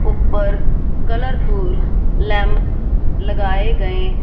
ऊपर colourful lamp लगाए गएं--